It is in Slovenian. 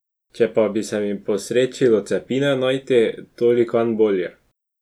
Če pa bi se mi posrečilo capine najti, tolikanj bolje.